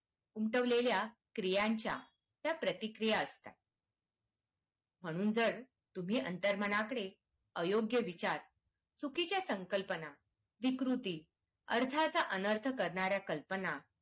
उमटवलेल्या क्रियांच्या त्या प्रतिक्रिया असतात म्हणून जर तुम्ही अंतर्मनाकडे अयोग्य विचार चुकीच्या संकल्पना विकृती अर्थाचा अनर्थ करणाऱ्या कल्पना